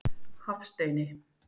Hafsteini